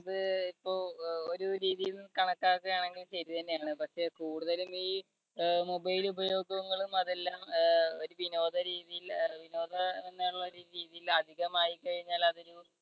അത് ഇപ്പം ഒരു രീതിന്ന് കണക്കാക്കുകയാണെങ്കിൽ ശരി തന്നെയാണെന്ന്. പക്ഷേ കൂടുതലുംഈ mobile ഉപയോഗങ്ങളും അതെല്ലാം ഒരു വിനോദരീതിയിൽ അഹ് വിനോദം എന്നുള്ള രീതിയിൽ അധികമായി കഴിഞ്ഞാൽ അത്